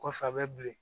Kɔfɛ a bɛ bilen